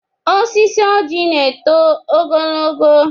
Osisi ọjị na-eto ogologo.